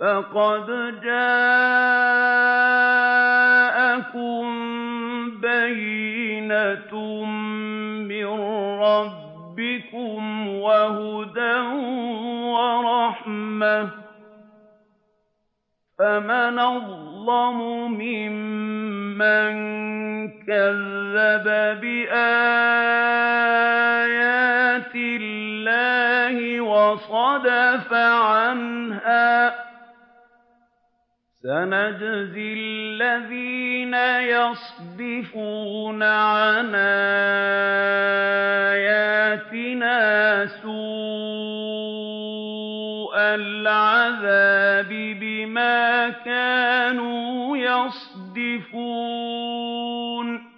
فَقَدْ جَاءَكُم بَيِّنَةٌ مِّن رَّبِّكُمْ وَهُدًى وَرَحْمَةٌ ۚ فَمَنْ أَظْلَمُ مِمَّن كَذَّبَ بِآيَاتِ اللَّهِ وَصَدَفَ عَنْهَا ۗ سَنَجْزِي الَّذِينَ يَصْدِفُونَ عَنْ آيَاتِنَا سُوءَ الْعَذَابِ بِمَا كَانُوا يَصْدِفُونَ